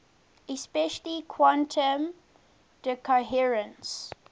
especially quantum decoherence